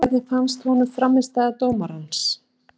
Hvernig fannst honum frammistaða dómarans?